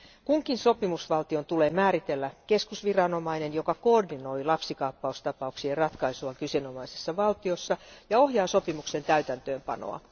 Kunkin sopimusvaltion tulee määritellä keskusviranomainen, joka koordinoi lapsikaappaustapauksien ratkaisua kyseenomaisessa valtiossa ja ohjaa sopimuksen täytäntöönpanoa.